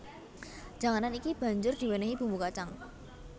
Janganan iki banjur diwènèhi bumbu kacang